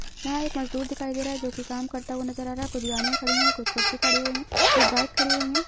यहाँ एक मजदूर दिखाई दे रहा है जो की काम करता हुआ नजर आ रहा है कुछ गाड़िया खड़ी हुए है कुछ कुर्सी खड़ी हुई है कुछ बाइक खड़ी हुई हैं।